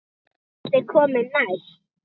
Hvað ætli komi næst?